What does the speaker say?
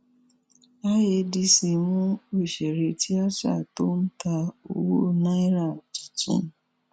iadc mú òṣèré tìata tó ń ta owó náírà tuntun